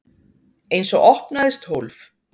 Einsog opnaðist hólf.